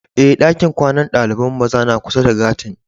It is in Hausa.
Eh, dakin kwanan dalibain maza na kusa da gati'n.